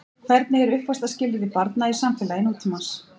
Hvernig eru uppvaxtarskilyrði barna í samfélagi nútímans?